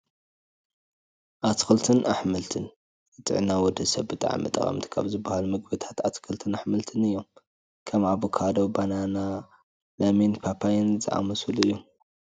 ኣትክልትን ኣሕምልትን፡- ንጥዕና ወዲ ሰብ ብጣዕሚ ጠቐምቲ ካብ ዝባሃሉ ምግብታት ኣትክልትን ኣሕምትን እዮም፡፡ ከም ኣቮካዶ፣ ባናና፣ ለሚንን ፓፓየን ዝኣመሰሉ እዮም፡፡